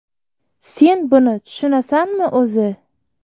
Sen buni tushunasanmi, o‘zi?